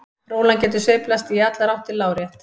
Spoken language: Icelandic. Rólan getur sveiflast í allar áttir lárétt.